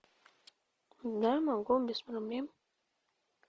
да могу без проблем